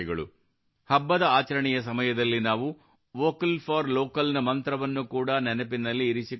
ಹಬ್ಬದ ಆಚರಣೆಯ ಸಮಯದಲ್ಲಿ ನಾವು ವೊಕಲ್ ಫೋರ್ ಲೋಕಲ್ ನ ಮಂತ್ರವನ್ನು ಕೂಡಾ ನೆನಪಿನಲ್ಲಿ ಇರಿಸಿಕೊಳ್ಳಬೇಕು